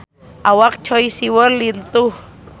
Awak Choi Siwon lintuh